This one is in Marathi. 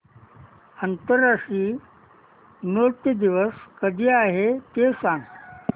आंतरराष्ट्रीय नृत्य दिवस कधी आहे ते सांग